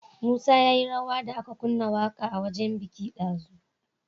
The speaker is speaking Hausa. Musa yayi rawa da aka kunna waƙa a wajan biki dazu